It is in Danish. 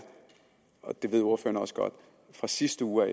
og det ved ordføreren også godt at fra sidste uge